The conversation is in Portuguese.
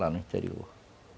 Lá no interior.